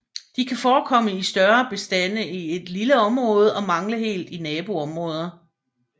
De kan forekomme i større bestande i et lille område og mangle helt i naboområder